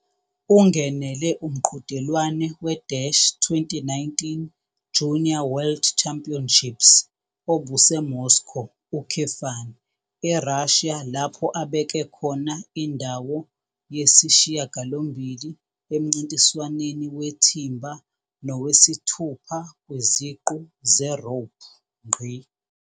Ungenele umqhudelwano we- 2019 Junior World Championships obuseMoscow, eRussia lapho abeke khona indawo yesi-8 emncintiswaneni weThimba nowesi-6 kwiziqu zeRope.